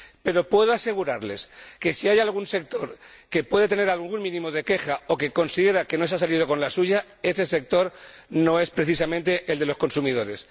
Pero puedo asegurarles que, si hay algún sector que pueda tener un mínimo de queja o que considera que no se ha salido con la suya, ese sector no es precisamente el de los consumidores